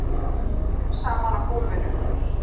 Sígur saman á gólfinu.